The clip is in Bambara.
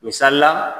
Misalila